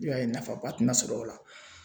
I b'a ye nafaba tina sɔrɔ la.